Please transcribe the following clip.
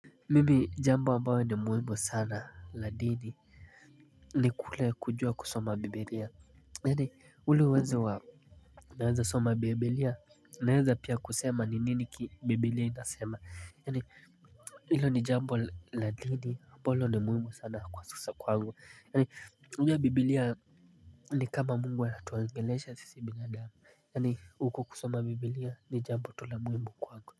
Mimi jambo ambayo ni muhimu sana la dini ni kule kujua kusoma bibilia. Yani ule uwezo wa naweza soma bibilia naweza pia kusema ni nini bibilia inasema. Yani hilo ni jambo la dini ambalo ni muhimu sana kwa sasa kwangu yani unajua bibilia ni kama mungu anatuongelesha sisi binadamu. Yani huko kusoma bibilia ni jambo tu la muhimu kwangu.